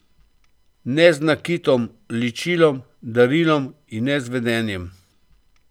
Ne z nakitom, ličilom, darilom in ne z vedenjem.